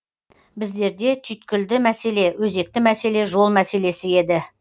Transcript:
біздерде түйткілді мәселе өзекті мәселе жол мәселесі еді